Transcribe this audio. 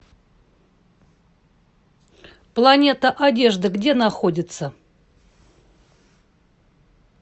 планета одежды где находится